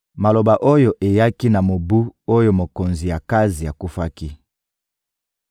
Maloba oyo eyaki na mobu oyo mokonzi Akazi akufaki: